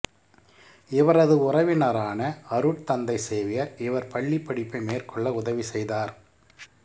இவரது உறவினரான அருட்தந்தை சேவியர் இவர் பள்ளிப்படிப்பை மேற்கொள்ள உதவி செய்தார்